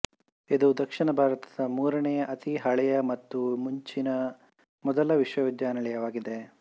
ಇದು ದಕ್ಷಿಣ ಭಾರತದ ಮೂರನೇ ಅತಿ ಹಳೆಯ ಮತ್ತು ಮುಂಚಿನ ಮೊದಲ ವಿಶ್ವವಿದ್ಯಾಲಯವಾಗಿದೆ